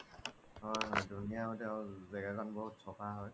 হয় হয় ধুনিয়া আৰু তেওৰ জেগা খন বহুত চাফা হয়